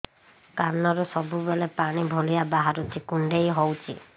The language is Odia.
କାନରୁ ସବୁବେଳେ ପାଣି ଭଳିଆ ବାହାରୁଚି କୁଣ୍ଡେଇ ହଉଚି